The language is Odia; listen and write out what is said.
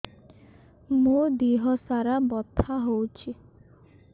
ମୋ ଦିହସାରା ବଥା ହଉଚି